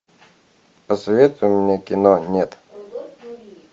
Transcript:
посоветуй мне кино нет